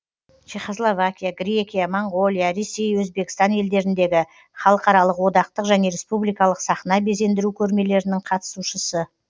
чехословакия грекия моңғолия ресей өзбекстан елдеріндегі халықаралық одақтық және республикалық сахна безендіру көрмелерінің қатысушысы